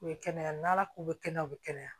U bɛ kɛnɛya n'ala ko bɛ kɛnɛya u bɛ kɛnɛya